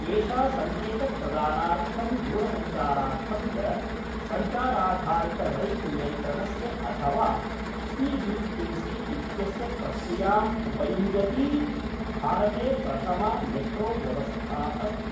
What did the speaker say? एषा संकेतप्रदानार्थं दूरसञ्चारार्थं च संचाराधारितरैल् नियन्त्रणस्य अथवा सि बि टि सि इत्यस्य प्रक्रियाम् उपयुञ्जती, भारते प्रथमा मेट्रोव्यवस्था अस्ति।